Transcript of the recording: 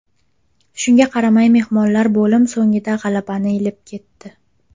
Shunga qaramay mehmonlar bo‘lim so‘ngida g‘alabani ilib ketdi.